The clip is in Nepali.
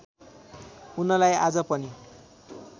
उनलाई आज पनि